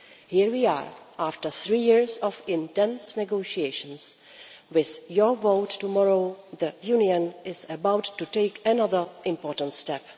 Here we are after three years of intense negotiations, with your vote tomorrow the Union is about to take another important step.